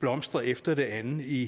blomstrer efter det andet i